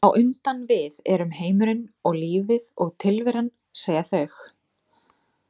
á undan við erum heimurinn og lífið og tilveran, segja þau.